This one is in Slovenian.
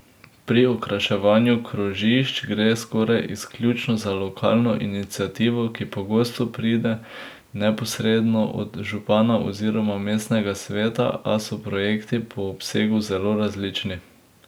Pri okraševanju krožišč gre skoraj izključno za lokalno iniciativo, ki pogosto pride neposredno od župana oziroma mestnega sveta, a so projekti po obsegu zelo različni.